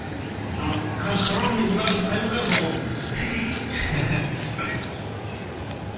мхм ал каронный ударың қай удар бауырым